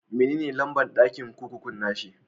Me ne lamba'n dakin kurkukun na shi?